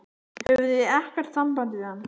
Höfðuð þið ekkert samband við hann?